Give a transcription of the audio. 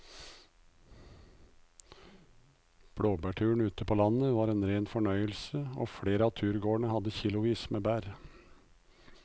Blåbærturen ute på landet var en rein fornøyelse og flere av turgåerene hadde kilosvis med bær.